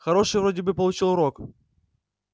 хороший вроде бы получил урок